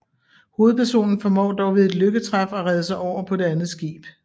Hovedpersonen formår dog ved et lykketræf at redde sig over på det andet skib